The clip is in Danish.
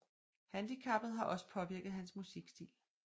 Handicappet har også påvirket hans musikstil